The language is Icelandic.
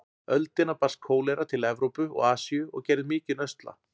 öldina barst kólera til Evrópu og Asíu og gerði mikinn usla.